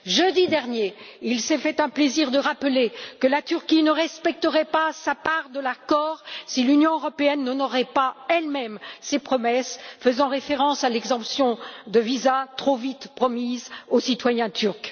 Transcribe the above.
Jeudi dernier, il s'est fait un plaisir de rappeler que la Turquie ne respecterait pas sa part de l'accord si l'Union européenne n'honorait pas elle même ses promesses, faisant référence à l'exemption de visa trop vite promise aux citoyens turcs.